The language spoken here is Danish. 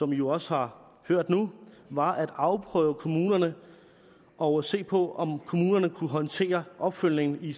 vi jo også har hørt nu var at afprøve kommunerne og se på om kommunerne kunne håndtere opfølgningen i